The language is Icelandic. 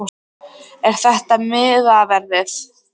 Er þetta miðaverðið?